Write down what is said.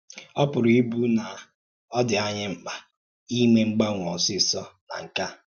Ọ̀ pùrù ìbụ̀ na ọ́ dị ànyí mkpa ìmè m̀gbanwe ọ̀sọ̀sọ̀ nà nke à?